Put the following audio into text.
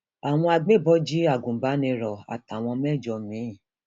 àwọn agbébọn jí agùnbàníró àtàwọn mẹjọ mi